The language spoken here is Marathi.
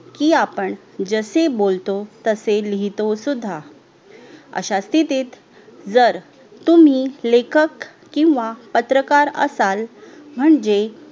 जसे बोलतो तसे लिहितो सुद्धा अश्या स्थितीत जर तुम्ही लेखक किव्हा पत्रकार असाल म्हणजे